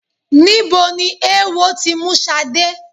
Níbo ni eéwo ti mú Ṣadé?